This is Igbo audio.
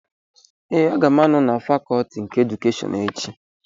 Ee, aga m anọ na fakọtị nke edukeshọn echi